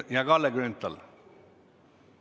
Jah, Kalle Grünthal!